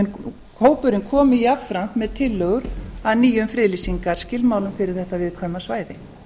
og hópurinn komi jafnframt með tillögur að nýjum friðlýsingarskilmálum fyrir þetta viðkvæma svæði